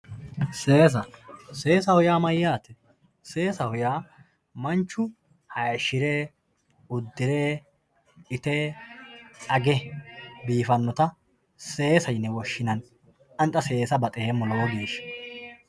seesa seesaho yaa mayaate seesaho yaa manchu hayiishire, uddiree, itee, age biifannota seesa yine woshshinanni ani xa seesa baxeemmo lowo geeshsha.